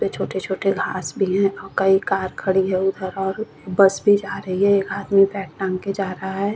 वे छोटे छोटे घास भी है और कई कार खड़ी है उधर और बस भी जा रही है एक आदमी बैग टांग के जा रहा है।